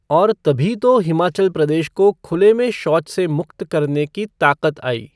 और तभी तो हिमाचल प्रदेश को खुले में शौच से मुक्त करने की ताक़त आई।